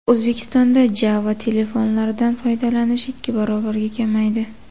O‘zbekistonda Java-telefonlardan foydalanish ikki barobarga kamaydi.